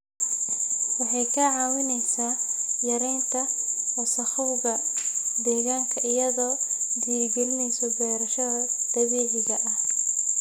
Waxay kaa caawinaysaa yaraynta wasakhowga deegaanka iyadoo dhiirigelinaysa beerashada dabiiciga ah.